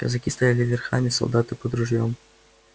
казаки стояли верхами солдаты под ружьём